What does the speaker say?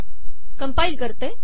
compile करते